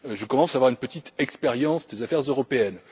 Je commence à avoir une petite expérience des affaires européennes.